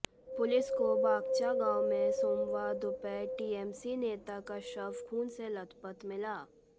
police को बागचा गांव में सोमवार दोपहर टीएमसी नेता का शव खून से लथपथ मिला